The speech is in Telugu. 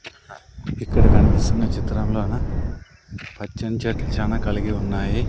ఇక్కడ కన్పిస్తున్న చిత్రంలోన పచ్చని చెట్లు చానా కలిగి ఉన్నాయి.